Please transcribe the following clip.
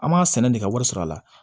An b'a sɛnɛ de ka wari sɔrɔ a la